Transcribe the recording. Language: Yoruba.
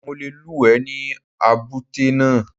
Mo le lúùwẹ́ ní èbúté náà.